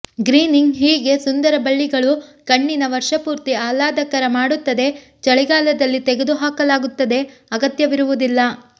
greening ಹೀಗೆ ಸುಂದರ ಬಳ್ಳಿಗಳು ಕಣ್ಣಿನ ವರ್ಷಪೂರ್ತಿ ಆಹ್ಲಾದಕರ ಮಾಡುತ್ತದೆ ಚಳಿಗಾಲದಲ್ಲಿ ತೆಗೆದುಹಾಕಲಾಗುತ್ತದೆ ಅಗತ್ಯವಿರುವುದಿಲ್ಲ